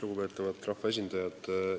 Lugupeetavad rahvaesindajad!